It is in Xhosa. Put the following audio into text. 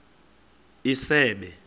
isebe